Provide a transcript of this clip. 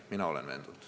Mina olen veendunud.